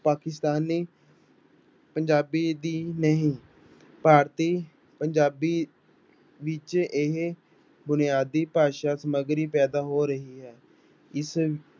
ਪਾਕਿਸਤਾਨ ਪੰਜਾਬੀ ਦੀ ਨਹੀਂ, ਭਾਰਤੀ ਪੰਜਾਬੀ ਵਿੱਚ ਇਹ ਬੁਨਿਆਦੀ ਭਾਸ਼ਾ ਸਮੱਗਰੀ ਪੈਦਾ ਹੋ ਰਹੀ ਹੈ, ਇਸ